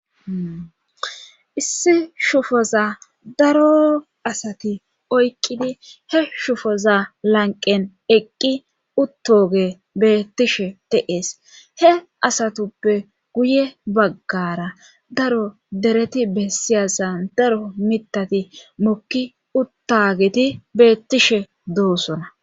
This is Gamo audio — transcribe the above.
issi shufoza daro asati oyqqidi he shufoza lanqen eqqi uttoge beettishe de'es he asatuppe guye baggara daro dereti bessiyasan daro mitati mokki uttageti beettishe doosona